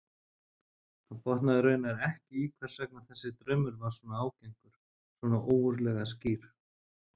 Hann botnaði raunar ekki í hvers vegna þessi draumur var svona ágengur, svona ógurlega skýr.